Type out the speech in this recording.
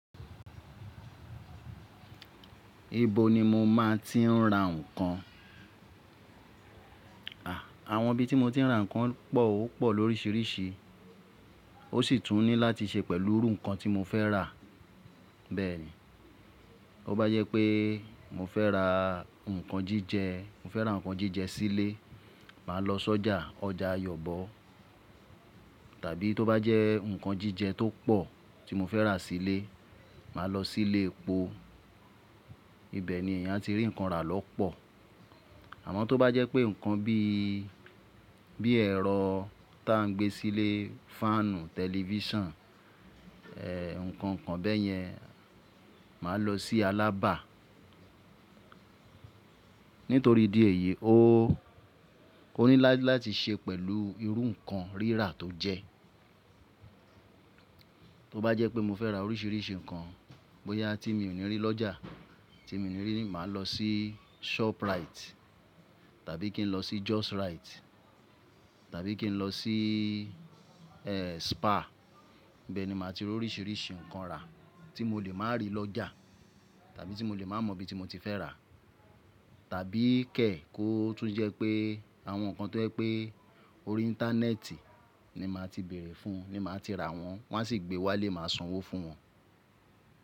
Ibo ni mo máa ti ń ra ǹkan? Àwọn ibi tí mo ti ń ra ǹkan pọ̀ ó pọ̀ lórísìírísìí, ó sì tún ní láti se pẹ̀lú irú ǹkan tí mo fẹ́ rà. Bẹ́ẹ̀ ni, tó bá jẹ́ pé mo fẹ́ ra ǹkan jíjẹ, mo fẹ́ ra ǹkan jíjẹ sílé, màá lọ sọ́jà ọjà Ayọ̀bọ̀. Tàbí tó bá jẹ́ ǹkan jíjẹ tó pọ̀ tí mo fẹ́ rà sílé, màá lọ sílé epo. Ibẹ̀ ni èèyàn ati rí ǹkan rà lọ́ pọ̀. Àmọ́ tó bá jẹ́ pé ǹkan bí, bí ẹ̀rọ tá ń gbé sílé, fáànù, tẹlifíṣàn, ẹ, ǹkan kan bẹ́ẹ̀ yẹn, màá lọ sí Alaba. Nítorí di èyí, ó, ó ní láti ṣe pẹ̀lú irú ǹkan rírà tó jẹ. Tó bá jẹ́ pé mo fẹ́ ra oríṣìíríṣìí ǹkan, bóyá tí mi ò ní rí lọ́jà, tí mi ò ní rí, màá lọ sí Shoprite, tàbí kí n lọ sí Justrite, tàbí kí n lọ sí, ẹ, Spa. Ibẹ̀ ni màá ti rí oríṣìíríṣìí ǹkan rà tí mo lè máa rí lọ́jà, tàbí tí mo lè máa mọ ibi tí mo ti fẹ́ rà. Tàbí kẹ̀ kó tún jẹ́ pé àwọn ǹkan tó jẹ́ pé orí íńtánẹ́ẹ̀tì ni màá ti bèèrè fún, ni màá ti rà wọ́n, wọ́n á sì gbe wá ile, màá sanwó fún wọn.